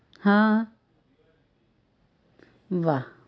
હા વાહ